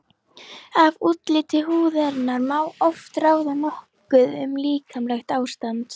Af útliti húðarinnar má oft ráða nokkuð um líkamlegt ástand.